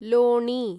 लोणी